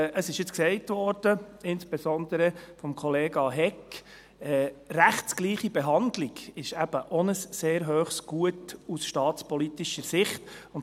Insbesondere von Kollega Hegg wurde gesagt, dass die rechtsgleiche Behandlung aus staatspolitischer Sicht auch ein sehr hohes Gut sei.